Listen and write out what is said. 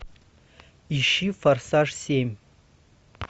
ищи форсаж семь